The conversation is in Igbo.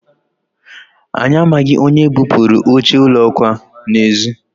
anyị amaghị onye bupuru oche ụlọ akwa n'ezi